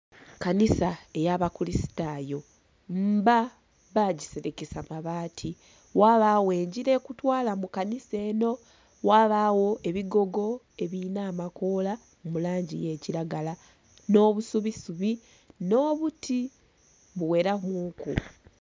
Kanisa ey'abakuristayo mba bagiselekesa mabaati. Ghabagho engila ekutwala mu kanisa enho. Ghabagho ebigogo ebilina amakoola mu langi y'ekilagala, nh'obusubisubi nh'obuti buweramuku.